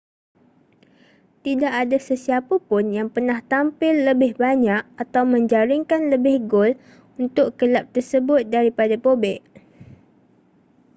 tidak ada sesiapapun yang pernah tampil lebih banyak atau menjaringkan lebih gol untuk kelab tersebut daripada bobek